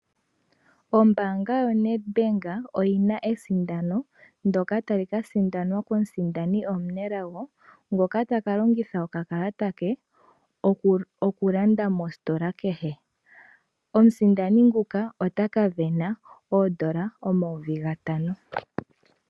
Ombaanga yoNedBank oyina ethigathano ndoka tali kasindanwa komusindani omunelago ngoka taka longitha okakalata ke okulanda mositola kehe. Omusindani nguka otaka sindana oodola omayovi gatano.